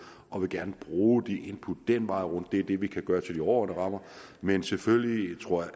og vil gerne bruge de input den vej rundt det er det vi kan gøre til de overordnede rammer men selvfølgelig tror